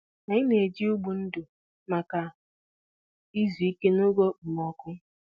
Anyị na-eji ụgbụ ndò maka izu ike n'oge okpomọkụ.